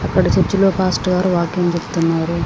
అక్కడ చర్చి లో పాస్టర్ గారు వాక్యం చెప్తున్నారు.